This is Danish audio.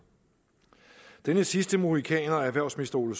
denne sidste mohikaner erhvervsministeren